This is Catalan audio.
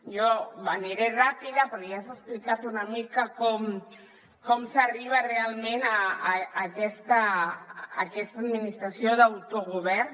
jo aniré ràpida perquè ja s’ha explicat una mica com s’arriba realment a aquesta administració d’autogovern